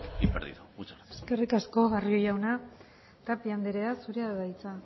y perdido muchas gracias eskerrik asko barrio jauna tapia andrea zurea da hitza